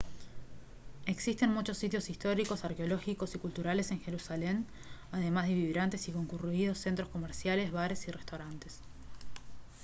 existen muchos sitios históricos arqueológicos y culturales en jerusalén además de vibrantes y concurridos centros comerciales bares y restaurantes